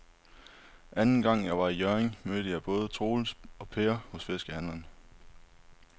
Anden gang jeg var i Hjørring, mødte jeg både Troels og Per hos fiskehandlerne.